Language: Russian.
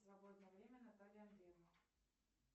свободное время натальи андреевны